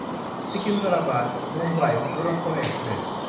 सिकिन्डाराबाद–मुम्बाइ Duronto express